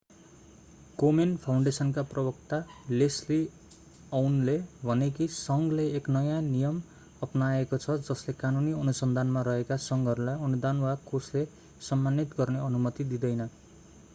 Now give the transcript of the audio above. कोमेन फाउन्डेसनका प्रवक्ता लेस्ली अउनले भने कि संघले एक नयाँ नियम अपनाएको छ जसले कानूनी अनुसन्धानमा रहेका संघहरूलाई अनुदान वा कोषले सम्मानित गर्ने अनुमति दिँदैन